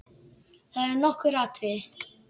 Það eru nokkur atriði.